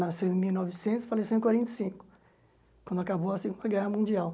Nasceu em mil e novecentos e faleceu em quarenta e cinco, quando acabou a Segunda Guerra Mundial.